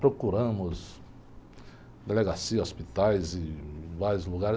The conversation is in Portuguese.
Procuramos delegacia, hospitais e vários lugares.